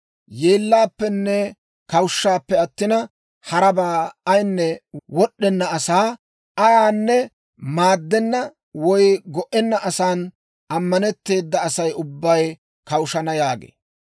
yeellappenne kawushshappe attina, harabaa ayaanne wod'd'enna asaa, ayaanne maaddenna woy go"enna asan ammanetteeda Asay ubbay kawushshana» yaagee.